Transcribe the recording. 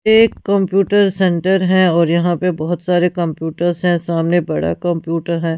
एक computer centre है और यहां पे बहोत सारे कंप्यूटर्स हैं सामने बड़ा कंप्यूटर है।